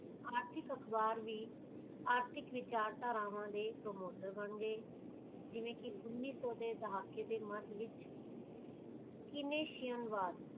ਆਰਥਿਕ ਅਖਬਾਰ ਵੀ ਆਰਥਿਕ ਵਿਚਾਰਧਾਵਾਂ ਦੇ promoter ਹੋਣ ਗੇ ਜਿਵੇਂ ਕੀ ਉੱਨੀ ਸੋ ਦੇ ਦਹਾਕੇ ਦੇ ਮੱਦ ਵਿਚ